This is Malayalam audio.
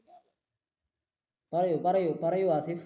പറയു പറയു പറയു ഹാസിഫ്